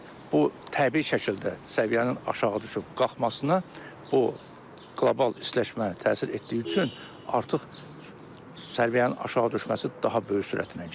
Yəni bu təbii şəkildə səviyyənin aşağı düşüb-qalxmasına bu qlobal istiləşmə təsir etdiyi üçün artıq səviyyənin aşağı düşməsi daha böyük sürətlə gedir.